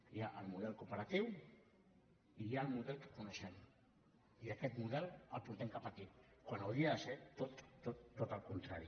hi ha el model cooperatiu i hi ha el model que coneixem i aquest model el portem cap aquí quan hauria de ser tot al contrari